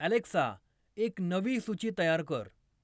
Alexa, एक नवी सूची तयार कर.